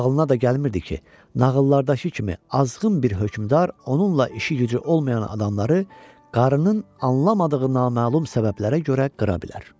Ağlına da gəlmirdi ki, nağıllardakı kimi azğın bir hökmdar onunla işi-gücü olmayan adamları qarının anlamadığı naməlum səbəblərə görə qıra bilər.